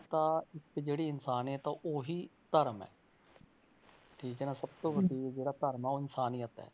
ਤਾਂ ਤੇ ਕਿ ਜਿਹੜੀ ਇਨਸਾਨੀਅਤ ਆ ਉਹੀ ਧਰਮ ਹੈ ਠੀਕ ਹੈ ਨਾ ਸਭ ਤੋਂ ਵੱਡੀ ਜਿਹੜਾ ਧਰਮ ਹੈ ਉਹ ਇਨਸਾਨੀਅਤ ਹੈ।